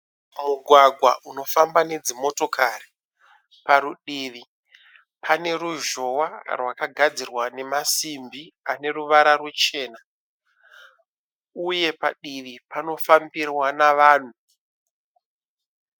Mugwagwa unofamba nedzimotokari. parutivi pane ruzhowa rwakagadzirwa namasimbi aneruvara ruchena, uye padivi panofambirwa navanhu.